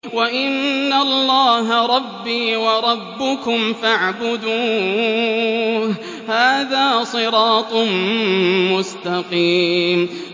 وَإِنَّ اللَّهَ رَبِّي وَرَبُّكُمْ فَاعْبُدُوهُ ۚ هَٰذَا صِرَاطٌ مُّسْتَقِيمٌ